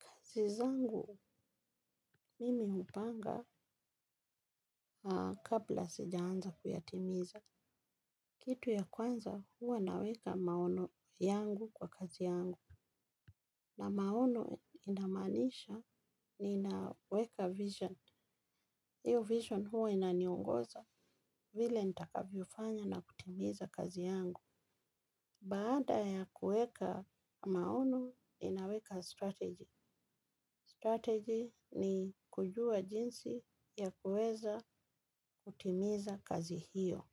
Kazi zangu, mimi hupanga kabla sijaanza kuyatimiza. Kitu ya kwanza huwa naweka maono yangu kwa kazi yangu. Na maono inamaanisha ninaweka vision. Hiyo vision huwa inaniongoza vile nitakavyofanya na kutimiza kazi yangu. Baada ya kuweka maono ninaweka strategy Strategy ni kujua jinsi ya kuweza kutimiza kazi hiyo.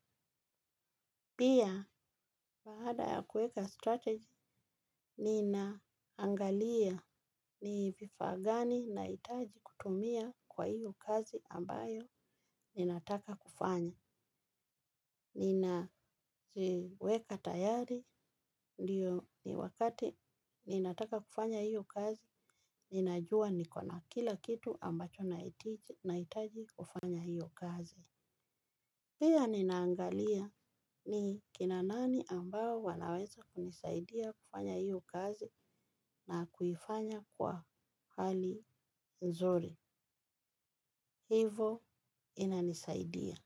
Pia, baada ya kueka strategy, ninaangalia ni vifaa gani nahitaji kutumia kwa hiyo kazi ambayo ninataka kufanya. Ninaziweka tayari, ndio ni wakati ninataka kufanya hiyo kazi, ninajua niko na kila kitu ambacho nahitaji kufanya hiyo kazi. Pia ninaangalia ni kina nani ambao wanaweza kunisaidia kufanya hiyo kazi na kuifanya kwa hali nzuri. Hivo inanisaidia.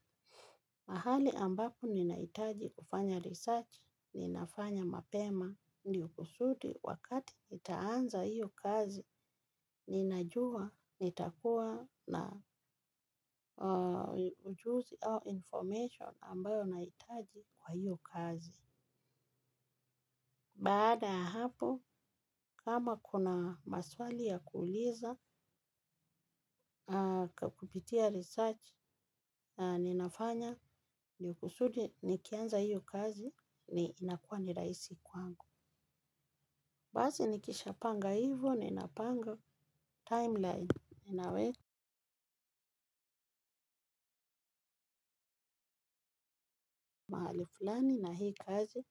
Mahali ambako ninahitaji kufanya research, ninafanya mapema, ni ukusudi wakati nitaanza hiyo kazi, ninajua nitakuwa na ujuzi au information ambayo nahitaji kwa hiyo kazi. Baada ya hapo, kama kuna maswali ya kuuliza, kwa kupitia research, ninafanya ndio kusudi nikianza hiyo kazi ni inakuwa ni rahisi kwangu. Basi nikishapanga hivo, ninapanga timeline, ninaweka mahali flani na hii kazi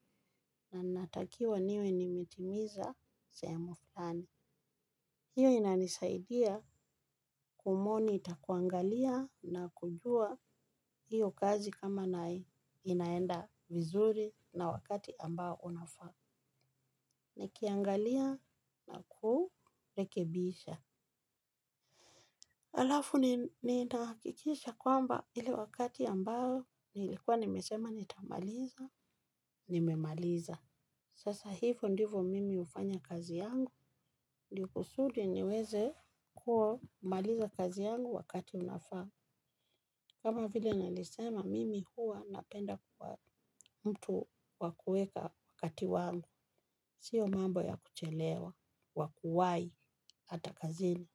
na natakiwa niwe nimetimiza sehemu fulani. Hiyo inanisaidia kumonitor kuangalia na kujua hiyo kazi kama na inaenda vizuri na wakati ambao unafaa. Nikiangalia nakurekebisha. Alafu ninahakikisha kwamba ile wakati ambao nilikuwa nimesema nitamaliza, nimemaliza. Sasa hivyo ndivyo mimi hufanya kazi yangu. Ndio kusudi niweze kumaliza kazi yangu wakati unafaa. Kama vile nalisema mimi huwa napenda kuwa mtu wa kueka wakati wangu, sio mambo ya kuchelewa, wa kuwahi hata kazini.